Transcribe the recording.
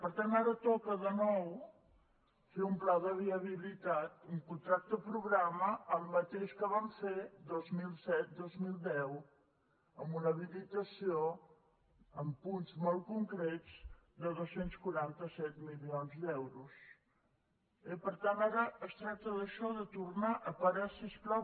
per tant ara toca de nou fer un pla de viabilitat un contracte programa el mateix que vam fer dos mil set·dos mil deu amb una habilitació amb punts molt concrets de dos cents i quaranta set milions d’euros eh per tant ara es tracta d’ai·xò de tornar a parar si us plau